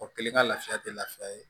O kelen ka lafiya tɛ lafiya ye